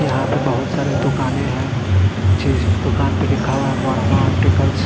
यहां पे बहोत सारे दुकाने हैं। जिस दुकान पे लिखा हुआ है वर्मा ऑप्टिकल्स ।